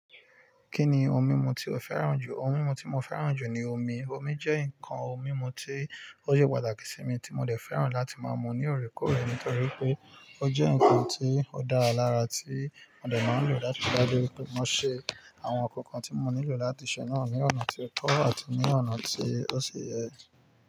Kí ni ohun mímu tí o fẹ́ràn jù? Ohun mímu tí mo fẹ́ràn jù ni omi. Omi jẹ́ nǹkan ohun mímu tí ó ṣe pàtàkì sí mi, tí mo dẹ fẹ́ràn láti máa mu ní òorèkóòrè nítorí pé ó jẹ́ nǹkan tí ó dára lára tí mo dẹ̀ máa ń lò láti gbádé pé mo ṣe àwọn n kankan tí mo nílò láti ṣe náà ní ọ̀nà tí ó tọ́ àti ní ọ̀nà tí ó ṣi yẹ.